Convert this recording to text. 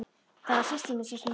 Það var systir mín sem hringdi.